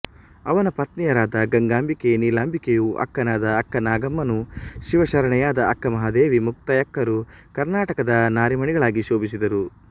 ಅವರ ಪತ್ನಿಯರಾದ ಗಂಗಾಂಬಿಕೆ ನೀಲಾಂಬಿಕೆಯೂ ಅಕ್ಕನಾದ ಅಕ್ಕನಾಗಮ್ಮನೂ ಶಿವಶರಣೆಯರಾದ ಅಕ್ಕಮಹಾದೇವಿ ಮುಕ್ತಾಯಕ್ಕರೂ ಕರ್ನಾಟಕದ ನಾರೀಮಣಿಗಳಾಗಿ ಶೋಭಿಸಿದರು